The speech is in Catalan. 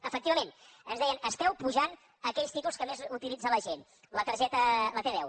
efectivament ens deien esteu apujant aquells títols que més utilitza la gent la t deu